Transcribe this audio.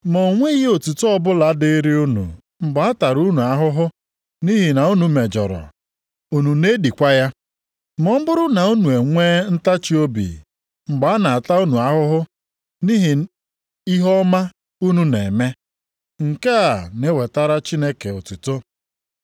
Ma o nweghị otuto ọbụla dịrị unu mgbe a tara unu ahụhụ nʼihi na unu mejọrọ, unu na-edikwa ya? Ma ọ bụrụ na unu enwee ntachiobi mgbe a na-ata unu ahụhụ nʼihi ihe ọma unu na-eme, nke a na-ewetara Chineke otuto.